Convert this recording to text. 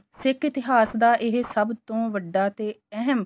ਸਿੱਖ ਇਤਿਹਾਸ ਦਾ ਇਹ ਸਭ ਤੋਂ ਵੱਡਾ ਤੇ ਇਹਮ